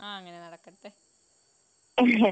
ആഹ് അങ്ങനെ നടക്കട്ടെ